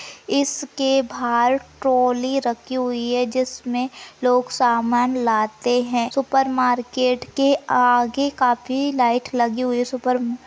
इसके बाहर ट्रोली रखी हुई है जिसमे लोग सामान लाते है सुपर मार्केट के आगे काफी लाइट लगी हुई है सुपर म्म--